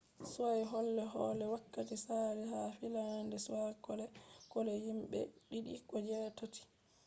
ya do be kole-kole wakkati saali ha finland be kole-kole himbe je’ɗiɗi ko je’tati